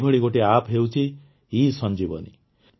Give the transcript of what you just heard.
ଏହିଭଳି ଗୋଟିଏ ଆପ୍ ହେଉଛି ଇସଂଜୀବନୀ